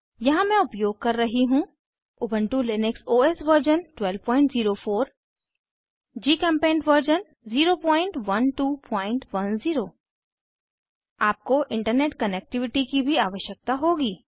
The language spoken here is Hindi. यहाँ मैं उपयोग कर रही हूँ Ubuntu Linux OS version 1204 GChemPaint version 01210 आपको इंटरनेट कनेक्टिविटी की भी आवश्यकता होगी